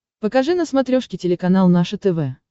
покажи на смотрешке телеканал наше тв